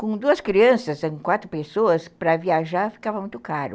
Com duas crianças, quatro pessoas, para viajar ficava muito caro.